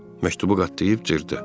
Məktubu qatlayıb cırdı.